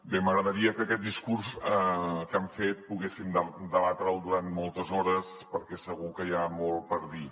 bé m’agradaria que aquest discurs que han fet poguéssim debatre’l durant moltes hores perquè segur que hi ha molt per a dir